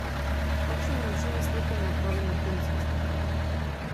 Takšnemu načinu slikanja pravimo tonsko slikanje.